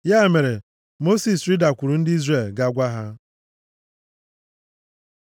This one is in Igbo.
Ya mere, Mosis rịdakwuru ndị Izrel ga gwa ha.